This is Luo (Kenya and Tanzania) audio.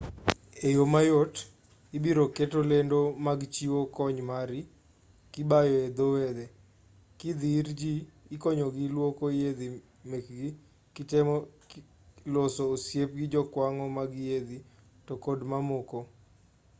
e yo mayot ibiro keto lendo mag chiwo kony mari kibayo e dho wedhe kidhi ir ji ikonyogi luoko yiedhi mekgi kitemo loso osiep gi jokwang' mag yiedhi to kod mamoko